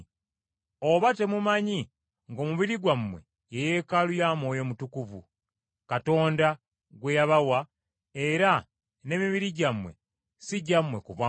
Oba temumanyi ng’omubiri gwammwe ye Yeekaalu ya Mwoyo Mutukuvu Katonda gwe yabawa, era n’emibiri gyammwe si gyammwe ku bwammwe?